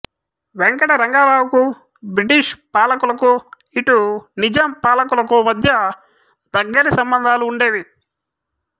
వెంకటరంగారావుకు British పాలకులకు ఇటు నిజాం పాలకులకు మధ్య దగ్గరి సంబంధాలు ఉండేవి